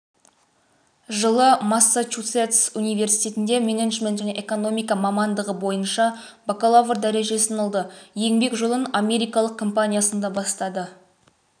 жылы массачусетс университетінде менеджмент және экономика мамандығы бойынша бакалавр дәрежесін алды еңбек жолын америкалық компаниясында бастады